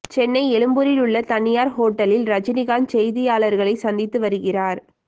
சென்னை எழும்பூரில் உள்ள தனியார் ஹோட்டலில் ரஜினிகாந்த் செய்தியாளர்களை சந்தித்து வருகிறார்